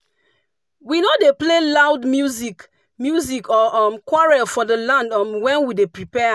we no dey play loud music music or um quarrel for the land um when we dey prepare am.